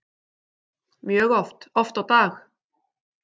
Mjög oft, oft á dag.